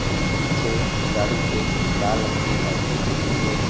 Leak पीछे गाड़ी के लाल रंग की लाइट लगी हुई है।